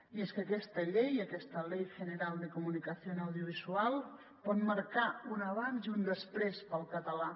i és que aquesta llei aquesta ley general de comunicación audiovisual pot marcar un abans i un després per al català